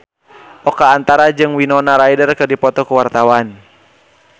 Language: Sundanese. Oka Antara jeung Winona Ryder keur dipoto ku wartawan